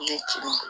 Ne ti